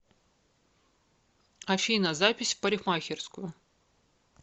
афина запись в парикмахерскую